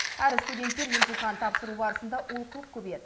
әрі студенттер емтихан тапсыру барысында олқылық көбейеді